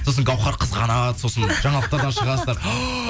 сосын гаухар қызғанады сосын жаңалықтардан шығасыздар